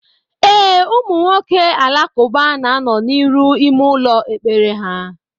E, ụmụ nwoke Alakuba na anọ n'iru n'ime ụlọ ekpere ha.